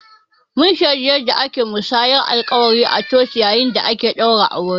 Mun shaidi yanda ake musayar alƙawura a coci yayin da ake ɗaura aure